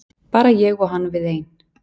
Bara ég og hann við ein.